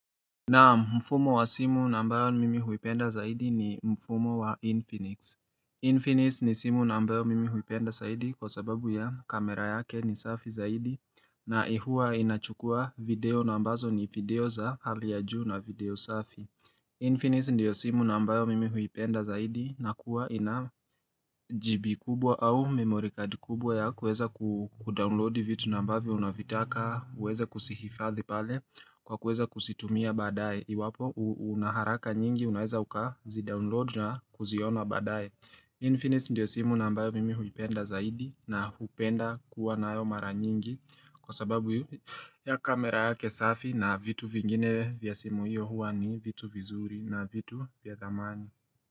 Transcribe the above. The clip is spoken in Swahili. Naam mfumo wa simu na ambayo mimi huipenda zaidi ni mfumo wa Infinix Infinix ni simu na ambayo mimi huipenda zaidi kwa sababu ya kamera yake ni safi zaidi na ihua inachukua video nambazo ni video za hali ya juu na video safi Infinix ndiyo simu na ambayo mimi huipenda zaidi na kuwa ina GB kubwa au memory card kubwa ya kuweza kudownload vitu na ambavyo unavitaka uweza kusihifadhi pale kwa kuweza kuzitumia baadaye iwapo unaharaka nyingi unaweza uka zidownload na kuziona badaye Infinix ndiyo simu na ambayo mimi huipenda zaidi na hupenda kuwa na ayo mara nyingi kwa sababu ya kamera yake safi na vitu vingine vya simu hiyo hua ni vitu vizuri na vitu vya dhamani.